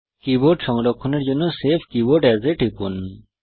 keyboard সংরক্ষণের জন্য save keyboard as এ টিপুন